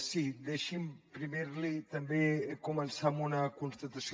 sí deixi’m primer també començar amb una constatació